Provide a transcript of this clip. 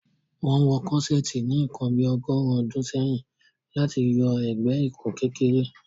Wọn wọ Corseti ni nkàn bí ọ̀gọ̀rùn ọdún sẹ̀yìn láti yọ ẹgbẹ-ìkùn kékèrè